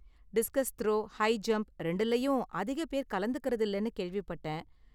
Discuss throw, high jump ரெண்டுலயும் அதிக பேர் கலந்துக்கறது இல்லனு கேள்விப்பட்டேன்.